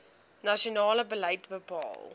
nasionale beleid bepaal